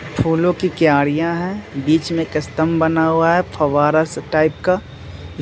फूलों की क्यारियाँ है। बीच में कस्टम बना हुआ है। फौवारा सा टाइप का।